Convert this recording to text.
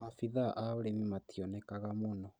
Abithaa a ũrĩmi mationekaga mũno